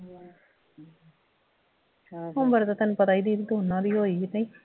ਉਮਰ ਦਾ ਤੁਹਾਨੂੰ ਪਤਾ ਈ ਦੀਦੀ ਦੋਂਨਾਂ ਦੀ ਹੋਈ ਕਿ ਨਹੀਂ